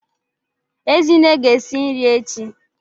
Ezinne ga-esi nri echi.